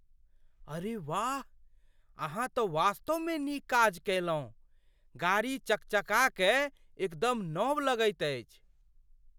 अरे वाह! अहाँ तँ वास्तवमे नीक काज कयलहुँ। गाड़ी चकचका कए एकदम नव लगैत अछि!